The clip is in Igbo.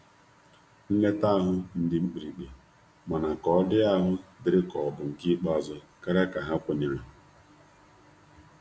Nleta ahu ndi mkpirikpi, mana ka ọ di ahụ diri ka ọ bụ nke ikpeazu karia ka ha kwenyere.